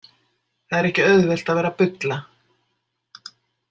Það er ekki auðvelt að vera bulla.